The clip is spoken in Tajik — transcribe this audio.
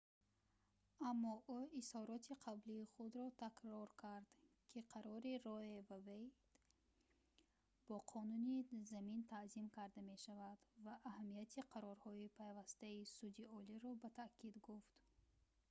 аммо ӯ изҳороти қаблии худро такрор кард ки қарори roe v wade бо қонуни замин танзим карда мешавад ва аҳамияти қарорҳои пайвастаи суди олиро ба таъкид гуфт